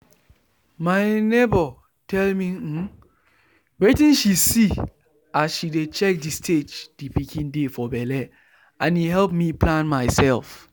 my neighbour tell me um wetin she see as she dey check the stage the pikin dey for belle and e help me plan myself.